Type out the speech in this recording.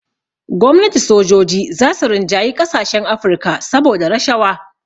Gwamnati sojoji za su rinjayi ƙasashen Afrika saboda rashawa